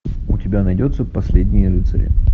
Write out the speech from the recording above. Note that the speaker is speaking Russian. у тебя найдется последние рыцари